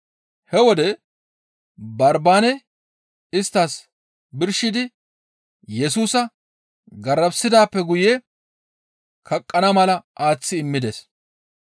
He wode Barbaane isttas birshidi Yesusa garafissidaappe guye kaqqana mala aaththi immides.